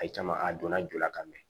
A ye caman a donna jo la ka mɛn